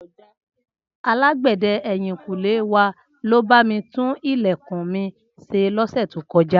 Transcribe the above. Alágbẹ̀dẹ ẹ̀yìnkùlé wa ló bá mi tún ilẹ̀kùn mi ṣe lọ́sẹ̀ tó kọjá